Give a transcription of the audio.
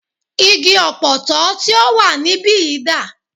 Igi Ọ̀pọ̀tọ́ tí o wà níbìyí dà?